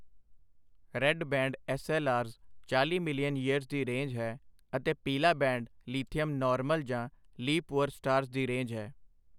Red band SLRs ਚਾਲ੍ਹੀ million years ਦੀ range ਹੈ ਅਤੇ ਪੀਲਾ ਬੈਂਡ ਲੀਥੀਅਮ ਨਾਰਮਲ ਜਾਂ ਲੀ ਪੂਅਰ ਸਟਾਰਸ ਦੀ ਰੇਂਜ ਹੈ।